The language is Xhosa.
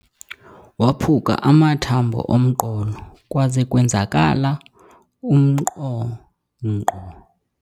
Waphuke amathambo omqolo kwaze kwenzakala umnqonqo.